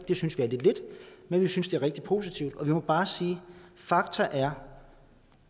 det synes vi er lidt lidt men vi synes det er rigtig positivt og vi må bare sige at fakta er